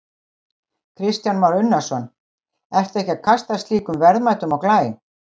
Kristján Már Unnarsson: Ertu ekki að kasta slíkum verðmætum á glæ?